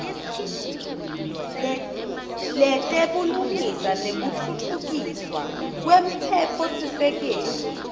letebulungisa nekutfutfukiswa kwemtsetfosisekelo